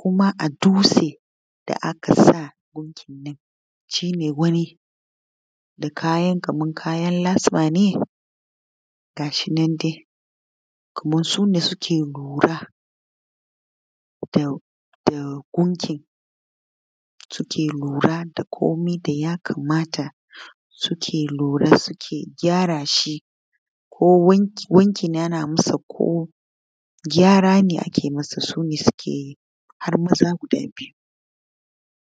kuma a dutsen da aka sa gunkinnan shi ne wanda kaman kayan lasa ne gashi nan dai kaman su ne suke lura da gunkin, suke lura da komai ya gabata suke lura suke gyara shi wanki ake masa ko gyara ake masa har maza guda biyu.